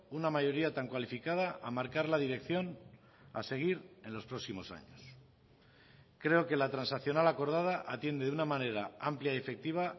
una mayoría tan cualificada a marcar la dirección a seguir en los próximos años creo que la transaccional acordada atiende de una manera amplia y efectiva